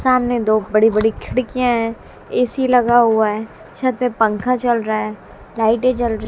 सामने दो बड़ी बड़ी खिड़कियां है ऐ_सी लगा हुआ है छत पे पंखा चल रहा है लाइटे जल--